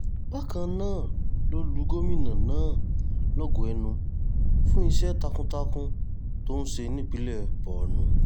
bákan náà ló lu gómìnà náà lógo ẹnu fún iṣẹ́ takuntakun tó ń ṣe nípìnlẹ̀ borno